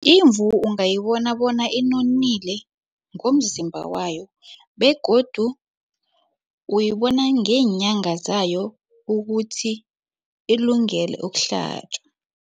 Imvu ungayibona bona inonile ngomzimba wayo begodu uyibona ngeenyanga zayo ukuthi ilungele ukuhlatjwa.